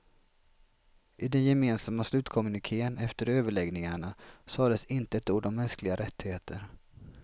I den gemensamma slutkommunikén efter överläggningarna sades inte ett ord om mänskliga rättigheter.